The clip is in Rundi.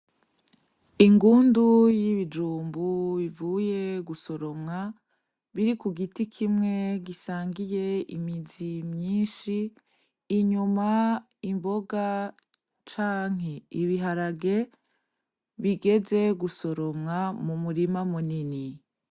Ingundu yibijumbu bivuye gusoromwa biri kugiti kimwe gisangiye imizi myinshi inyuma imboga canke ibiharage bigeze gusoromwa mumurima munini.